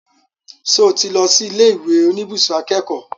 Ṣo tí lọ sí ilé ìwé oníbùsùn akẹ́kọ̀ọ́?